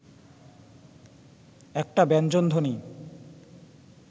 একটা ব্যঞ্জনধ্বনি